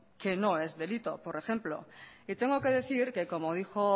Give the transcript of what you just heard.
que no es delito por ejemplo y tengo que decir que como dijo